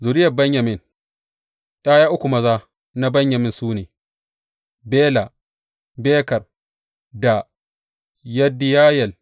Zuriyar Benyamin ’Ya’ya uku maza na Benyamin su ne, Bela, Beker da Yediyayel.